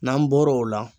N'an bɔr'o la